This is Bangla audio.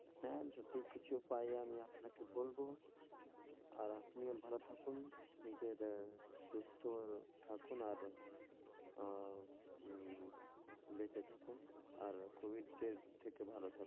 হ্যা, যদি কিছু পাই আমি আপনাকে বলবো, আর আপনি ও ভালো থাকুন, নিজের সুস্থ থাকুন, আর আহ হম বেঁচে থাকুন, আর কবিজযের থেকে ভালো থাকুন,